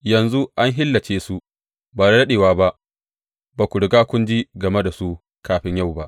Yanzu an halicce su, ba da daɗewa ba; ba ku riga kun ji game da su kafin yau ba.